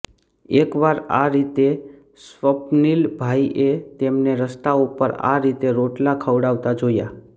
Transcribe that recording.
એકવાર આ રીતે સ્વપ્નિલ ભાઈએ તેમને રસ્તા ઉપર આ રીતે રોટલા ખવરાવતાં જોયા